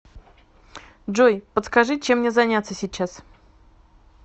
джой подскажи чем мне заняться сейчас